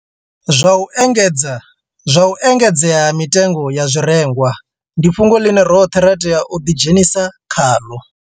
Zwa u engedzea ha mitengo ya zwirengwa ndi fhungo ḽine roṱhe ra tea u ḓidzhenisa khaḽo